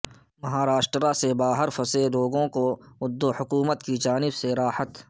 مہاراشٹر سے باہر کے پھنسے لوگوں کو ادھو حکومت کی جانب سے راحت